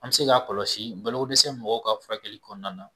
An bi se k'a kɔlɔsi balo ko dɛsɛ mɔgɔw ka furakɛli kɔnɔna na.